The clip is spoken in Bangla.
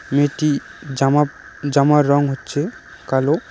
মেয়েটি জামাপ জামার রং হচ্ছে কালো।